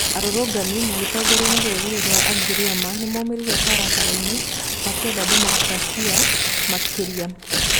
Arũrũngani magĩtongorio nĩ rũrĩrĩ rwa agiriama nĩmaumĩrire barabarai-nĩ makĩenda demokracĩ makĩria .